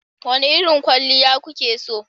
Wane irin kwalliya kuke so?